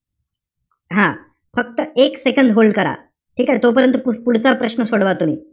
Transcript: हा. फक्त एक second hold करा. ठीकेय? तोपर्यंत पुढ~ पुढचा प्रश्न सोडवा तुम्ही.